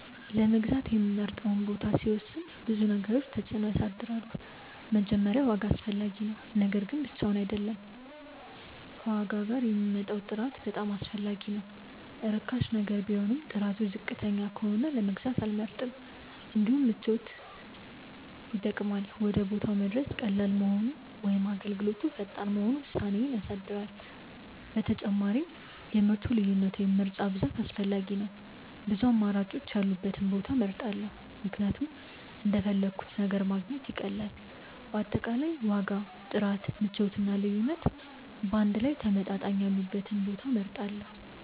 ለመግዛት የምመርጠውን ቦታ ሲወስን ብዙ ነገሮች ተጽዕኖ ያሳድራሉ። መጀመሪያ ዋጋ አስፈላጊ ነው፤ ነገር ግን ብቻውን አይደለም፣ ከዋጋ ጋር የሚመጣው ጥራት በጣም አስፈላጊ ነው። ርካሽ ነገር ቢሆንም ጥራቱ ዝቅተኛ ከሆነ መግዛት አልመርጥም። እንዲሁም ምቾት ይጠቅማል፤ ወደ ቦታው መድረስ ቀላል መሆኑ ወይም አገልግሎቱ ፈጣን መሆኑ ውሳኔዬን ያሳድራል። ተጨማሪም የምርቱ ልዩነት ወይም ምርጫ ብዛት አስፈላጊ ነው፤ ብዙ አማራጮች ያሉበትን ቦታ እመርጣለሁ ምክንያቱም እንደፈለግሁት ነገር ማግኘት ይቀላል። በአጠቃላይ ዋጋ፣ ጥራት፣ ምቾት እና ልዩነት በአንድ ላይ ተመጣጣኝ ያሉበትን ቦታ እመርጣለሁ።